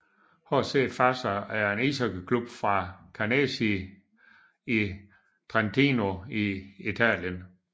HC Fassa er en ishockeyklub fra Canazei i Trentino i Italien